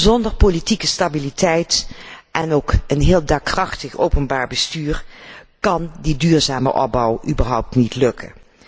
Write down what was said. Zonder politieke stabiliteit en ook een heel daadkrachtig openbaar bestuur kan die duurzame opbouw überhaupt niet lukken.